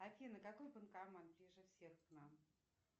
афина какой банкомат ближе всех к нам